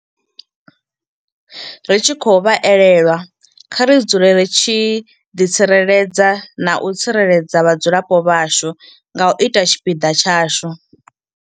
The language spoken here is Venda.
Ri tshi khou vha elelwa kha ri dzule ri tshi ḓitsireledza na u tsireledza vhadzulapo vhashu nga u ita tshipiḓa tshashu.